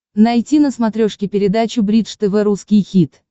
найти на смотрешке передачу бридж тв русский хит